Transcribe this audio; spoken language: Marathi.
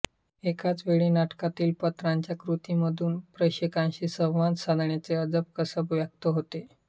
एकाच वेळी नाटकातील पात्रांच्या कृतीमधून प्रेक्षकांशी संवाद साधण्याचे अजब कसब व्यक्त होते